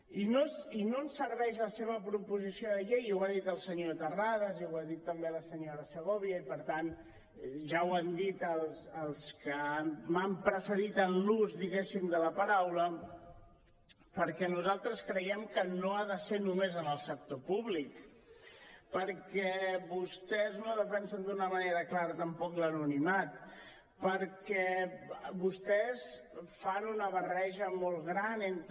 i no ens serveix la seva proposició de llei i ho ha dit el senyor terrades i ho ha dit també la senyora segovia i per tant ja ho han dit els que m’han precedit en l’ús de la paraula perquè nosaltres creiem que no ha de ser només en el sector públic perquè vostès no defensen d’una manera clara tampoc l’anonimat perquè vostès fan una barreja molt gran entre